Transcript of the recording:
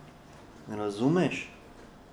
Razumeš?